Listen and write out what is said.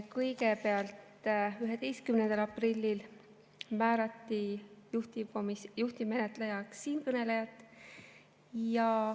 Kõigepealt, 11. aprillil määrati juhtivmenetlejaks siinkõneleja.